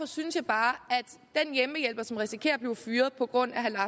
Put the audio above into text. synes jeg bare at den hjemmehjælper som risikerer at blive fyret på grund af herre